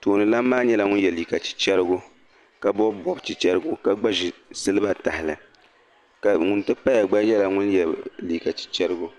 tooni lan maa nyɛla ŋun ye liiga chicharigau ka bɔbi bɔb chicharigau ka gba ʒi siliba tahili, ŋun ti paya gba ye liiga chicharigau